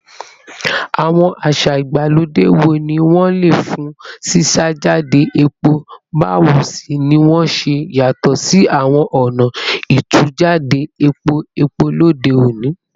Àwọn àṣà ìgbàlódé wo ni wọ́n lò fún ṣíṣàjáde epo, báwo sì ni wọ́n ṣe yàtọ̀ sí àwọn ọ̀nà ìtújáde epo epo lóde òní?